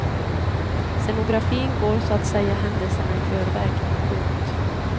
Scenografin går så att säga händelserna i förväg. punkt